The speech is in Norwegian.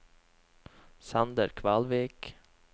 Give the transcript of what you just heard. Sander Kvalvik